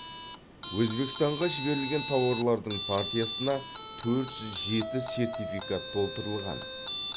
өзбекстанға жіберілген тауарлардың партиясына төрт жүз жеті сертификат толтырылған